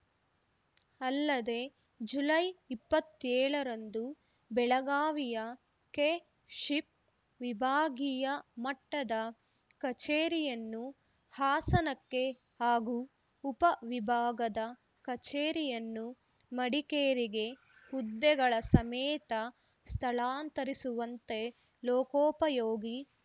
ಅಲ್ಲದೆ ಜುಲೈ ಇಪ್ಪತ್ತೇಳರಂದು ಬೆಳಗಾವಿಯ ಕೆಶಿಪ್‌ ವಿಭಾಗೀಯ ಮಟ್ಟದ ಕಚೇರಿಯನ್ನು ಹಾಸನಕ್ಕೆ ಹಾಗೂ ಉಪವಿಭಾಗದ ಕಚೇರಿಯನ್ನು ಮಡಿಕೇರಿಗೆ ಹುದ್ದೆಗಳ ಸಮೇತ ಸ್ಥಳಾಂತರಿಸುವಂತೆ ಲೋಕೋಪಯೋಗಿ